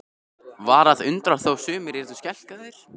Var að undra þó sumir yrðu skelkaðir?